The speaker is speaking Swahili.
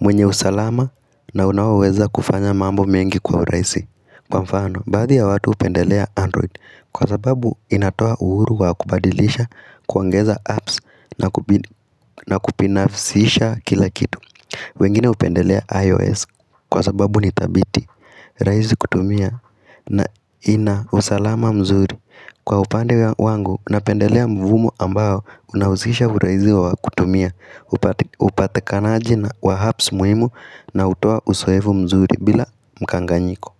Mwenye usalama na unaoweza kufanya mambo mengi kwa urahisi Kwa mfano, baadhi ya watu hupendelea android kwa sababu inatoa uhuru wa kubadilisha, kuongeza apps, na na kubinafisisha kila kitu. Wengine hupendelea ios kwa sababu ni dhabiti. Rahisi kutumia na ina usalama mzuri. Kwa upande wangu, napendelea mvumo ambayo unahuzisha uraizi wa kutumia, upatikanaji na, wa apps muhimu na hutoa usoevu mzuri bila mkanganyiko.